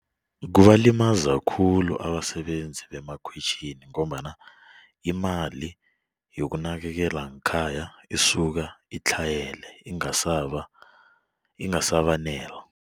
Kubalimaza khulu abasebenzi bemakhwitjhini ngombana imali yokunakelela ngekhaya isuka itlhayele ingasabanela.